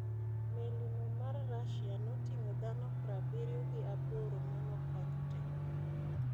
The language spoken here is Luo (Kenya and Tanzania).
Meli no ma Rusia notingo dhano prbiryo gi aboro manokony tee.